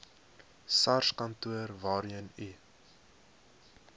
sarskantoor waarheen u